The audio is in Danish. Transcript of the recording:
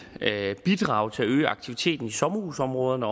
bidrage til at øge aktiviteten i sommerhusområderne